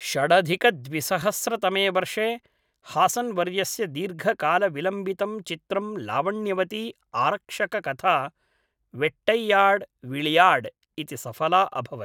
षडधिकद्विसहस्रतमे वर्षे, हासन्वर्यस्य दीर्घकालविलम्बितं चित्रं लावण्यवती आरक्षककथा वेट्टैयाड् विळयाड् इति सफला अभवत्।